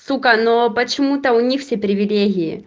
сука но почему-то у них все привилегии